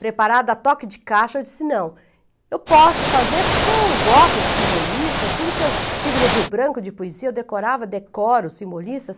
Preparada a toque de caixa, eu disse, não, eu posso fazer porque eu gosto de simbolistas, tudo que eu tive no Rio Branco de poesia eu decorava, decoro simbolistas.